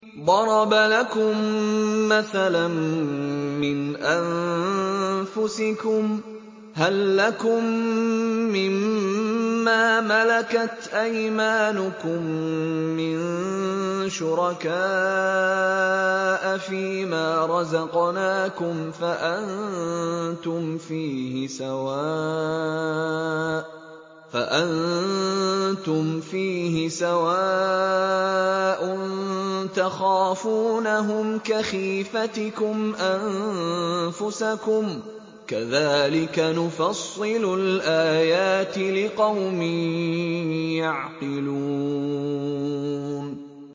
ضَرَبَ لَكُم مَّثَلًا مِّنْ أَنفُسِكُمْ ۖ هَل لَّكُم مِّن مَّا مَلَكَتْ أَيْمَانُكُم مِّن شُرَكَاءَ فِي مَا رَزَقْنَاكُمْ فَأَنتُمْ فِيهِ سَوَاءٌ تَخَافُونَهُمْ كَخِيفَتِكُمْ أَنفُسَكُمْ ۚ كَذَٰلِكَ نُفَصِّلُ الْآيَاتِ لِقَوْمٍ يَعْقِلُونَ